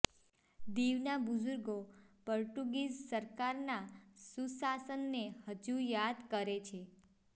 દીવના બુઝુર્ગો પોર્ટુગીઝ સરકારના સુશાસનને હજુ યાદ કરે છે